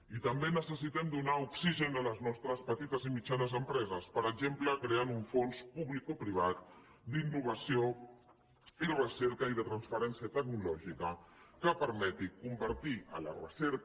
i també necessitem donar oxigen a les nostres petites i mitjanes empreses per exemple creant un fons públicoprivat d’innovació i recerca i de transferència tecnològica que permeti convertir la recerca